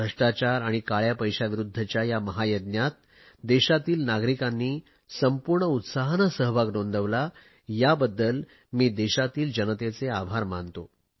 भ्रष्टाचार आणि काळया पैशाविरुध्दच्या या महायज्ञात देशातील नागरिकांनी संपूर्ण उत्साहाने सहभाग नोंदवला याबद्दल मी देशातील जनतेचे आभार मानतो